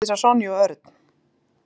Hann horfði til skiptis á Sonju og Örn.